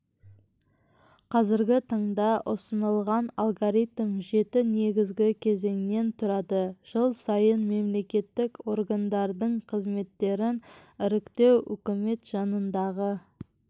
қазіргі таңда ұсынылған алгоритм жеті негізгі кезеңнен тұрады жыл сайын мемлекеттік органдардың қызметтерін іріктеу үкімет жанындағы